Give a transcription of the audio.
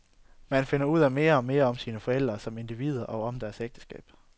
Man finder ud af mere og mere om sine forældre som individer og om deres ægteskab.